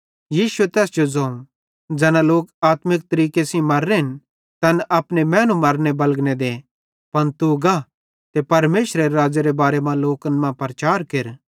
यीशुए तैस जो ज़ोवं ज़ैना लोक आत्मिक तरीके सेइं मर्रेन तैन अपने मैनू मरने बलगने दे पन तू गा ते परमेशरेरे राज़्ज़ेरे बारे मां लोकन मां प्रचार केर